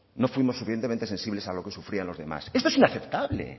no fuimos lo suficientemente sensibles a lo que sufrían los demás esto es inaceptable